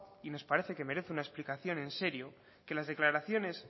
y nos parece que merece una explicación en serio que las declaraciones